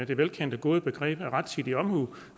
det velkendte gode begreb rettidig omhu og